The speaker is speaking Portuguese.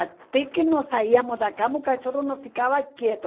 Até que nós saíamos da cama, o cachorro não ficava quieto.